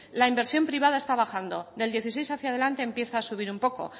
la inversión privada está bajando del dos mil dieciséis hacia adelante empieza a subir un poco